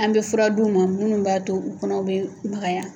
An bɛ fura d'u ma munnu b'a to u kɔnɔ be bagaya